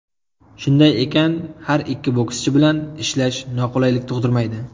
Shunday ekan, har ikki bokschi bilan ishlash noqulaylik tug‘dirmaydi.